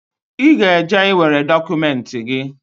I ga eje ị nwere dokumenti gi